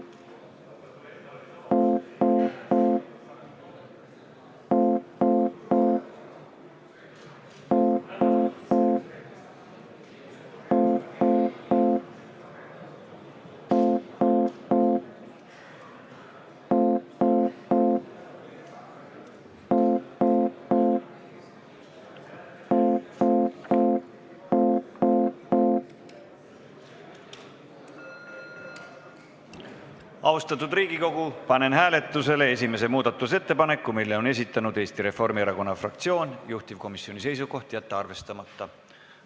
Austatud Riigikogu, panen hääletusele esimese muudatusettepaneku, mille on esitanud Eesti Reformierakonna fraktsioon, juhtivkomisjoni seisukoht: jätta see arvestamata.